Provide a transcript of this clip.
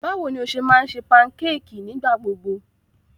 Báwo ni o ṣe máa ń ṣe pankéèkì nígbà gbogbo?